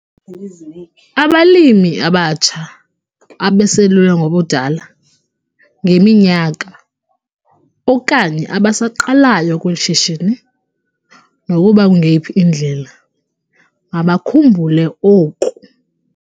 Abalimi abatsha, abaselula ngobudala, ngeminyaka, okanye abasaqalayo kweli shishini, nokuba kungeyiphi indlela, mabakhumbule oku.